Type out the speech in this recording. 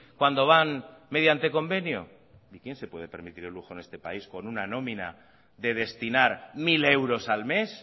cuando van mediante convenio y quién se puede permitir el lujo en este país con una nómina de destinar mil euros al mes